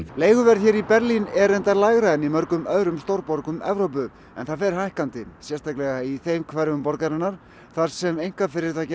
leiguverð hér í Berlín er reyndar lægra en í mörgum öðrum stórborgum Evrópu en það fer hækkandi sérstaklega í hverfum þar sem einkafyrirtæki